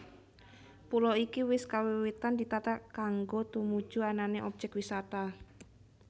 Pulo iki wis kawiwitan ditata kanggo tumuju anané objek wisata